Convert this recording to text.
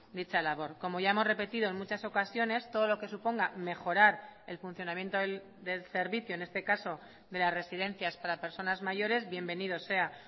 dicha labor como ya hemos repetido en muchas ocasiones todo lo que suponga mejorar el funcionamiento del servicio en este caso de las residencias para personas mayores bienvenido sea